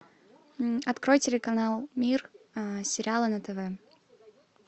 открой телеканал мир сериалы на тв